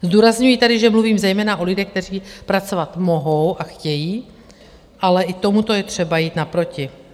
Zdůrazňuji tedy, že mluvím zejména o lidech, kteří pracovat mohou a chtějí, ale i tomuto je třeba jít naproti.